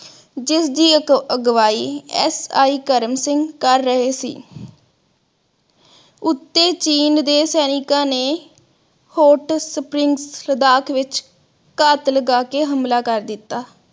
ਜਿਸ ਦੀ ਅਗਵਾਈ SI ਕਰਮ ਸਿੰਘ ਕਰ ਰਹੇ ਸੀ ਉੱਤੇ ਚੀਨ ਦੇ ਸੈਨਿਕ ਨੇ hot spring ਸਦਾਕ ਵਿਚ ਘਾਤ ਲਗਾ ਕੇ ਹਮਲਾ ਕਰ ਦਿਤਾ